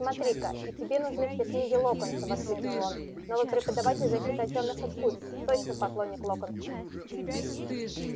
смотри-ка и тебе нужны все книги локонса воскликнул он новый преподаватель защиты от тёмных искусств точно поклонник локонса